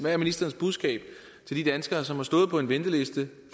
er ministerens budskab til de danskere som har stået på en venteliste